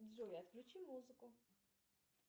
джой отключи музыку